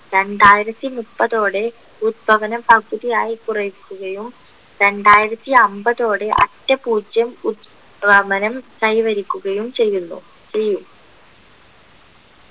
രണ്ടായിരത്തി മുപ്പതോടെ ഉത്തമനം പകുതിയായി കുറയ്ക്കുകയും രണ്ടായിരത്തി അമ്പതോടെ അറ്റ പൂജ്യം ഉ ത്തമനം കൈവരിക്കുകയും ചെയ്യുന്നു ചെയ്യും